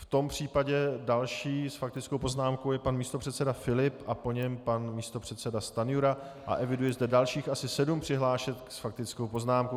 V tom případě další s faktickou poznámkou je pan místopředseda Filip a po něm pan místopředseda Stanjura a eviduji zde dalších asi sedm přihlášek s faktickou poznámkou.